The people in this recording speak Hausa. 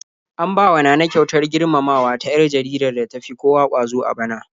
An bawa Nana kyautar girmamawa ta 'yar jaridar da tafi kowa ƙwazo a bana.